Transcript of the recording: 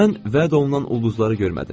Mən vəd olunan ulduzları görmədim.